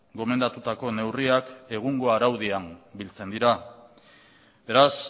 gomendatutako neurriak egungo araudiak biltzen dira beraz